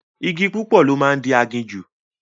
Igi púpọ̀ ló máa ń di aginjù